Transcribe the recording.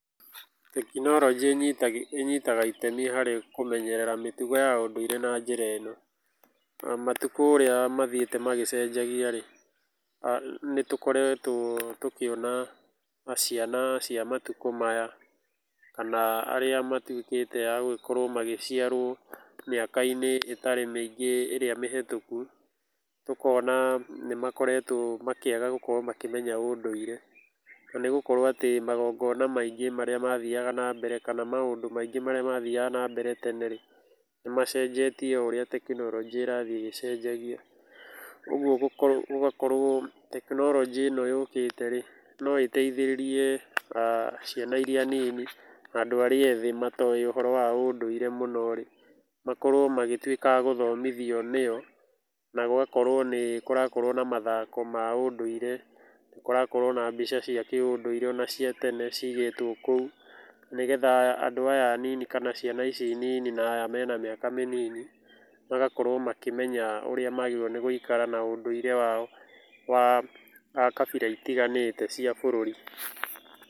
Tekinoronjĩ ĩnyitaga itemi harĩ kũmenyerera mĩtugo ya ũndũire na njĩra ĩno; matukũ ũria mathiĩte magĩcenjagia-rĩ, nĩtũkoretwo tũkĩona ciana cia matukũ maya, kana arĩa matuĩkĩte a gũgĩkorwo magĩciarwo mĩaka-inĩ itarĩ mĩingĩ ĩrĩa mĩhĩtũku, tũkona nĩmakoretwo makĩaga gũkorwo makĩmenya ũndũire. Na nĩgũkorwo atĩ magongona maingĩ marĩa mathiaga na mbere kana maũndũ maingĩ marĩa mathiaga na mbere tene-rĩ, nĩmacenjetie o ũrĩa tekinoronjĩ ĩrathiĩ ĩgĩcenjagia. Ũguo gũgakorwo tekinoronjĩ ĩno yũkĩte-rĩ, no ĩteithĩrĩrie ciana iria nini na andũ arĩa ethĩ matoĩ ũhoro wa ũndũire mũno-rĩ, makorwo magĩtuĩka a gũthomithio nĩyo na gũgakorwo nĩkũrakorwo na mathako ma ũndũire, nĩ kũrakorwo na mbica cia kĩũndũire ona cia tene ciigĩtwo kũu, nĩgetha andũ aya anini kana ciana ici nini na aya mena mĩaka mĩnini magakorwo makĩmenya ũrĩa magĩrĩirwo nĩ gũikara na ũndũire wao wa kabira itiganĩte cia bũrũri.